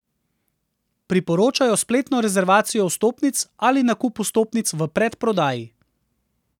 Priporočajo spletno rezervacijo vstopnic ali nakup vstopnic v predprodaji.